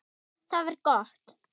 Það var gott